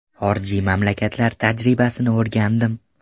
Xorijiy mamlakatlar tajribasini o‘rgandim.